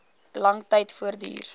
lang tyd voortduur